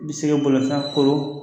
N bɛ se boli san kɔrɔ